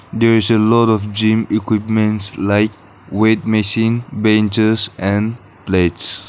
there is a lot of gym equipments like weight machine benches and plates.